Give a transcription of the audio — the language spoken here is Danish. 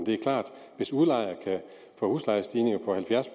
det er klart at hvis udlejer kan få huslejestigninger på halvfjerds